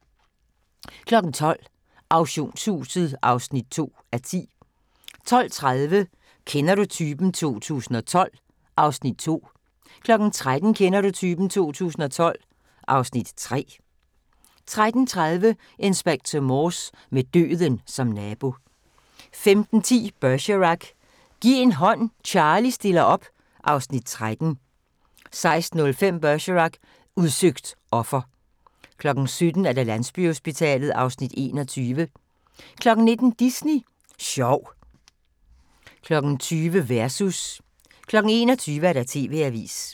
12:00: Auktionshuset (2:10) 12:30: Kender du typen? 2012 (Afs. 2) 13:00: Kender du typen? 2012 (Afs. 3) 13:30: Inspector Morse: Med døden som nabo 15:10: Bergerac: Giv en hånd, Charlie stiller op (Afs. 13) 16:05: Bergerac: Udsøgt offer 17:00: Landsbyhospitalet (Afs. 21) 19:00: Disney Sjov 20:00: Versus 21:00: TV-avisen